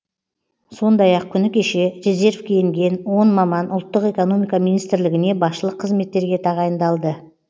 сондай ақ күні кеше резервке енген он маман ұлттық экономика министрлігіне басшылық қызметтерге тағайындалды